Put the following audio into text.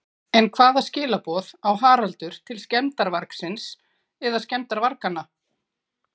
En hvaða skilaboð á Haraldur til skemmdarvargsins eða skemmdarvarganna?